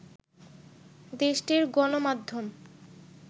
দেশটির গণমাধ্যম